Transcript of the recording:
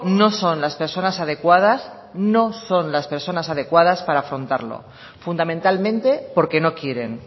no son las personas adecuadas no son las personas adecuadas para afrontarlo fundamentalmente porque no quieren